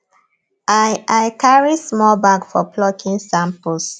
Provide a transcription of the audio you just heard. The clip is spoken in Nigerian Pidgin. i i carry small bag for plucking samples